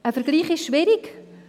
Ein Vergleich ist schwierig.